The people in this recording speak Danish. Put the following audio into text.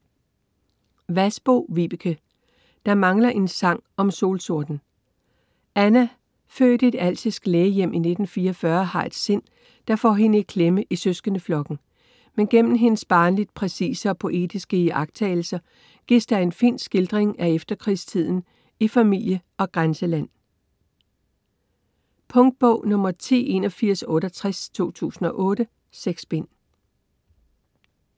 Vasbo, Vibeke: Der mangler en sang om solsorten Anna, født i et alsisk lægehjem i 1944, har et sind, der får hende i klemme i søskendeflokken. Men gennem hendes barnligt præcise og poetiske iagttagelser gives der en fin skildring af efterkrigstiden i familie og grænseland. Punktbog 108168 2008. 6 bind.